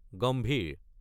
গম্ভীৰ